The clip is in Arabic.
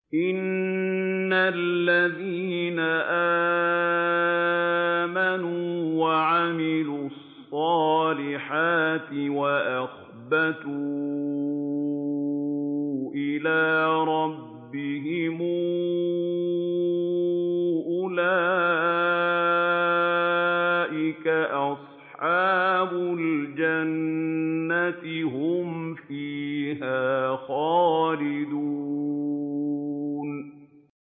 إِنَّ الَّذِينَ آمَنُوا وَعَمِلُوا الصَّالِحَاتِ وَأَخْبَتُوا إِلَىٰ رَبِّهِمْ أُولَٰئِكَ أَصْحَابُ الْجَنَّةِ ۖ هُمْ فِيهَا خَالِدُونَ